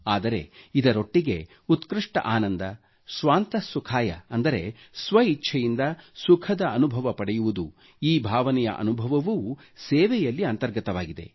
ಆದರೆ ಇದರೊಟ್ಟಿಗೆ ಉತ್ಕೃಷ್ಟ ಆನಂದ ಸ್ವಾಂತಃ ಸುಖಾಯಃ ಅಂದರೆ ಸ್ವ ಇಚ್ಛೆಯಿಂದ ಸುಖದ ಅನುಭವ ಪಡೆಯುವುದು ಈ ಭಾವನೆಯ ಅನುಭವವವೂ ಸೇವೆಯಲ್ಲಿ ಅಂತರ್ಗತವಾಗಿದೆ